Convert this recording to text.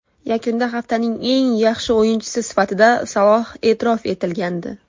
Yakunda haftaning eng yaxshi o‘yinchisi sifatida Saloh e’tirof etilgandi.